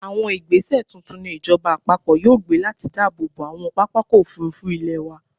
Àwọn ìgbẹ́sẹ̀ tuntun ni ìjọba-àpapọ̀ yóò gbé láti dáàbò bo àwọn pápákọ̀-òfurufú ilẹ̀ wa.